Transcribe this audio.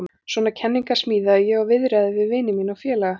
Svona kenningar smíðaði ég og viðraði við vini mína og félaga.